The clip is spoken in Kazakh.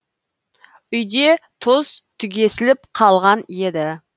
үйде тұз түгесіліп қалған еді